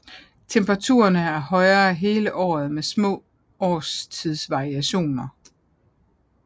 Temperaturerne er høje hele året med små årstidsvariationer